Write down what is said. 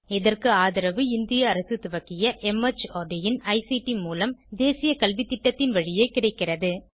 இதற்கு ஆதரவு இந்திய அரசு துவக்கிய மார்ட் இன் ஐசிடி மூலம் தேசிய கல்வித்திட்டத்தின் வழியே கிடைக்கிறது